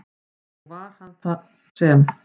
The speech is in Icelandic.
Og var það hann sem?